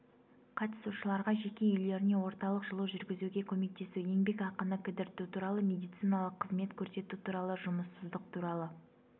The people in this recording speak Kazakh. қатысушыларға жеке үйлеріне орталық жылу жүргізуге көмектесу еңбекақыны кідірту туралы медициналық қызмет көрсету туралы жұмыссыздық туралы